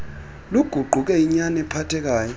luguquke inyani ephathekayo